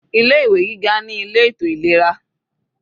Ilé ìwé gíga ní ilé ètò ìlera.